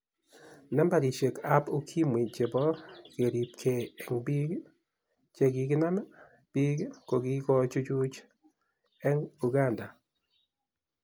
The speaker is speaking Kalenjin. Nambarishek ab ukimwi chebo keribke eng bik chikinam bik kokikochuch eng Uganda.